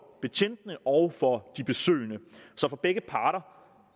betjentene og for de besøgende så for begge parter